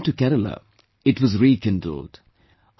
When I went to Kerala, it was rekindled